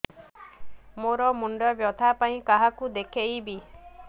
ମୋର ମୁଣ୍ଡ ବ୍ୟଥା ପାଇଁ କାହାକୁ ଦେଖେଇବି